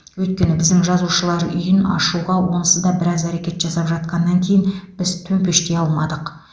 өйткені біздің жазушылар үйін ашуға онсыз да біраз әрекет жасап жатқаннан кейін біз төмпештей алмадық